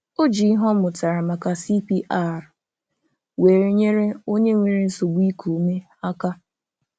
O ji ihe ọ mụtara maka CPR wee nyere onye nwere nsogbu iku ume aka